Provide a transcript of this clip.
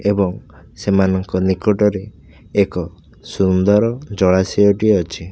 ଏବଂ ସେମାନଙ୍କ ନିକଟରେ ଏକ ସୁନ୍ଦର ଜଳାଶୟ ଟିଏ ଅଛି।